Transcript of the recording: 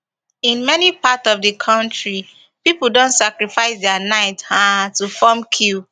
in many parts of di kontri pipo don sacrifice dia night um to form queue